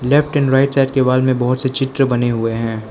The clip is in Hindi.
लेफ्ट एंड राइट साइड के वॉल में बहुत से चित्र बने हुए हैं।